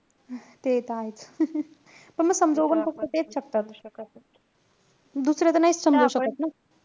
ते त आहेचं. पण म समजवू पण फक्त तेच शकतात. दुसरे त नाहीच समजवू शकत न.